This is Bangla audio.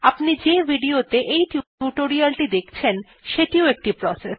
আপনি যে video ত়ে এই টিউটোরিয়ালটি দেখছেন সেটিও একটি প্রসেস